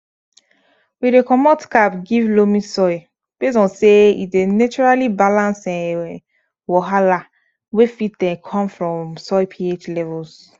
we dey comot cap give loamy soil based on say e dey naturaly balance um wahala wey fit um come from soil ph levels